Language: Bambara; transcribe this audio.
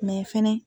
fɛnɛ